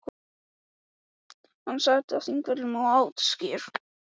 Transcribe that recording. Hann sat á Þingvöllum og át skyr.